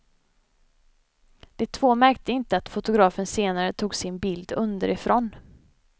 De två märkte inte att fotografen senare tog sin bild underifrån.